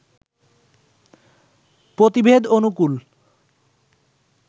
পতিভেদ অনুকূল